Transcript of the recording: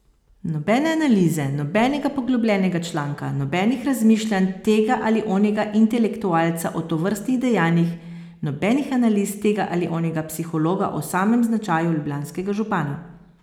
Nobene analize, nobenega poglobljenega članka, nobenih razmišljanj tega ali onega intelektualca o tovrstnih dejanjih, nobenih analiz tega ali onega psihologa o samem značaju ljubljanskega župana.